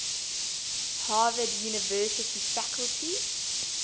harvard university faculty